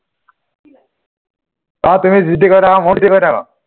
অ তুুমি যি টি কৈ থাকা